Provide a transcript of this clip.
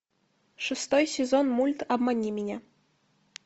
шестой сезон мульт обмани меня